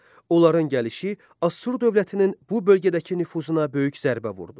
Onların gəlişi Assur dövlətinin bu bölgədəki nüfuzuna böyük zərbə vurdu.